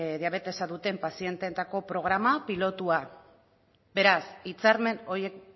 diabetesa duten pazienteetako programa pilotua beraz hitzarmen horiek